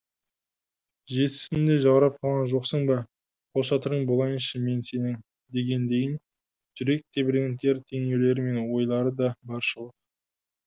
жеті түнде жаурап қалған жоқсың ба қолшатырың болайыншы мен сенің дегендейін жүрек тебірентер теңеулері мен ойлары да баршылық